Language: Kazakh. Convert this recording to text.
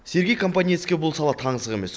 сергей компаниецке бұл сала таңсық емес